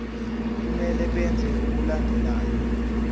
kumele benze okulandelayo